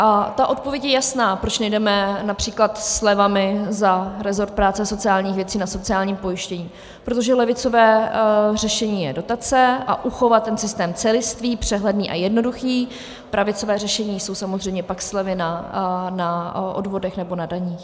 A ta odpověď je jasná, proč nejdeme například slevami za resort práce a sociálních věcí na sociálním pojištění, protože levicové řešení je dotace a uchovat ten systém celistvý, přehledný a jednoduchý, pravicové řešení jsou samozřejmě pak slevy na odvodech nebo na daních.